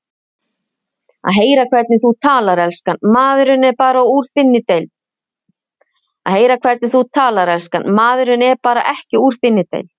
Að heyra hvernig þú talar, elskan, maðurinn er bara ekki úr þinni deild